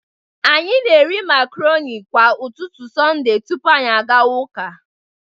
Anyị na-eri macaroni kwa ụtụtụ Sonde tupu anyị agawa ụka